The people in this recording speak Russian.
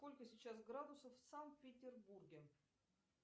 сколько сейчас градусов в санкт петербурге